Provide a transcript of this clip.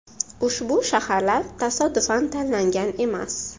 Ushbu shaharlar tasodifan tanlangan emas.